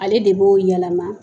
Ale de b'o yɛlɛma.